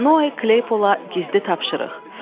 Noe Kleypola gizli tapşırıq.